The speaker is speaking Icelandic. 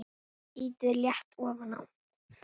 Ýtið létt ofan á.